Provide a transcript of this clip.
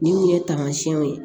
Ni u ye tamasiyɛnw ye